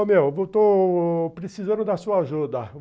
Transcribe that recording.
Ô, meu, estou precisando da sua ajuda.